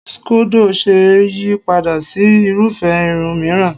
Scodo ṣe é yí padà sí irúfé irun mìíràn.